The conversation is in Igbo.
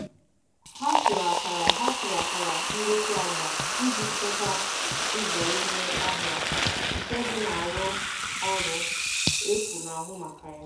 Ha tụrụ akara Ha tụrụ akara ngosi agba iji chekwaa ụzọ ime ọhịa nke dị na arụ ọrụ efu na-ahụ maka ya.